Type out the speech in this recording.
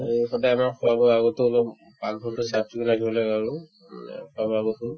আৰু সদাই আমাৰ খোৱা-বোৱাৰ আগতো অলপ পাকঘৰতো চাফ-চিকুণকে ৰাখিব লাগে আৰু উম খোৱা-বোৱা বস্তু